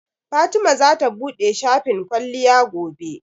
Fatima zata buɗe shafin kwalliya gobe.